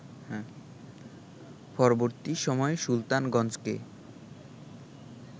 পরবর্তী সময়ে সুলতানগঞ্জকে